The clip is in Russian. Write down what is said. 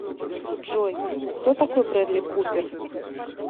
джой кто такой брэдли купер